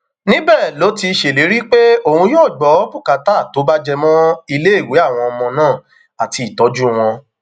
níbẹ ló ti ṣèlérí pé òun yóò gbọ bùkátà tó bá jẹ mọ iléèwé àwọn ọmọ náà àti ìtọjú wọn